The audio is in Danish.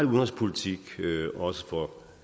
udenrigspolitik også for